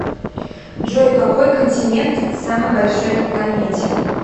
джой какой континент самый большой на планете